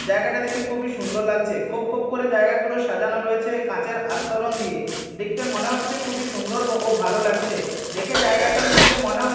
জায়গাটা দেখে খুবই সুন্দর লাগছে খোপ খোপ করে জায়গাগুলো সাজানো রয়েছে কাচের আস্তরণ দিয়ে দেখতে মনে হচ্ছে খুবই সুন্দর ও ভালো লাগছে দেখে জায়গাটার মধ্যে মনে হ--